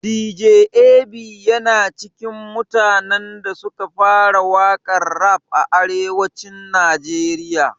Dj Ab yana cikin mutanen da suka fara waƙan rap a arewacin najeriya